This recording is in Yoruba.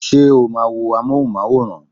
Ṣé o máa wo amóhùnmáwòrán?